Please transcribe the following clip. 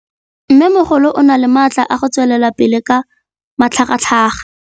Mmêmogolo o na le matla a go tswelela pele ka matlhagatlhaga.